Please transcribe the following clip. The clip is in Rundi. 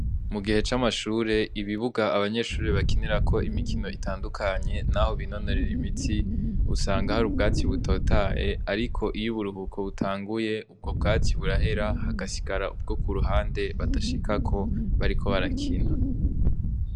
Mugihe c'amashure ibibuga abanyeshure bakinirako imikino itandukanye naho binonorera imitsi, usanga hari ubwatsi butotahaye, ariko iyo uburuhuko butanguye ubwo bwatsi burahera ,hagasigara ubwo kuruhande badashikako bariko barakina.